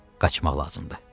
Qaçmaq lazımdır.